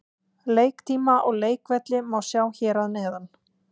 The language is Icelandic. Leiktíma og leikvelli má sjá hér að neðan.